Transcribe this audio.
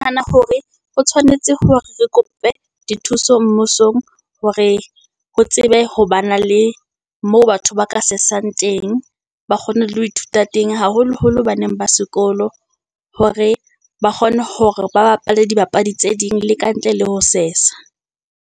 hore o tshwanetse hore re kope dithuso mmusong, hore ho tsebe ho ba na le moo batho ba ka sesang teng, ba kgone le ho ithuta teng, haholoholo baneng ba sekolo, hore ba kgone hore ba bapale dibapadi tse ding, le kantle le ho sesa.